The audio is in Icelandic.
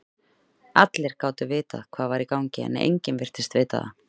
Allir gátu vitað hvað var í gangi, en enginn virtist vita það.